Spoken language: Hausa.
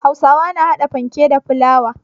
Hausawa na hada fanke da fulawa.